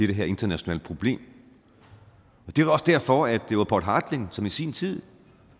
det her internationale problem det er også derfor at det var poul hartling som i sin tid